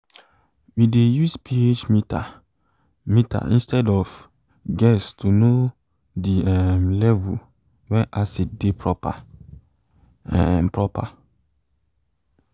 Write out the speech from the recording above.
we dey use ph meter meter instead of guess to know the um level wen acid de proper um proper um